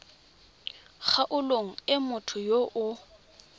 kgaolong e motho yo o